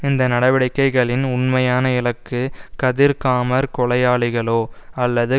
இந்த நடவடிக்கைகளின் உண்மையான இலக்கு கதிர்காமர் கொலையாளிகளோ அல்லது